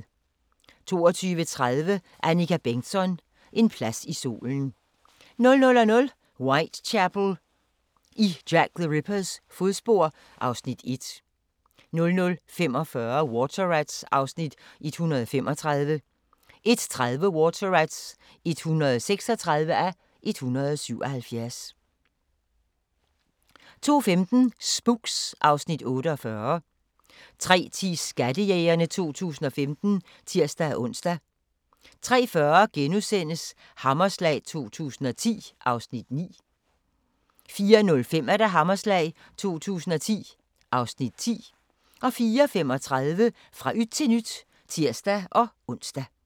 22:30: Annika Bengtzon: En plads i solen 00:00: Whitechapel: I Jack the Rippers fodspor (Afs. 1) 00:45: Water Rats (135:177) 01:30: Water Rats (136:177) 02:15: Spooks (Afs. 48) 03:10: Skattejægerne 2015 (tir-ons) 03:40: Hammerslag 2010 (Afs. 9)* 04:05: Hammerslag 2010 (Afs. 10)* 04:35: Fra yt til nyt (tir-ons)